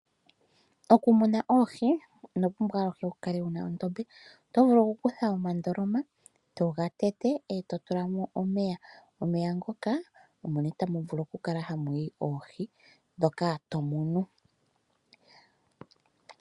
Okumuna oohi ino pumbwa aluhe wu kale wuna ondombe, oto vulu oku kutha omandoloma eto ga tete, eto tula mo omeya. Omeya ngoka omo nee tamu vulu oku kala hamu yi oohi ndhoka to munu.